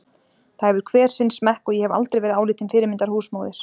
Það hefur hver sinn smekk og ég hef aldrei verið álitin fyrirmyndar húsmóðir.